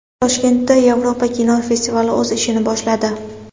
Toshkentda Yevropa kinosi festivali o‘z ishini boshladi.